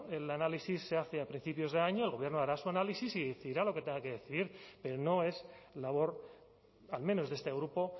el análisis se hace a principios de año el gobierno hará su análisis y decidirá lo que tenga que decir pero no es labor al menos de este grupo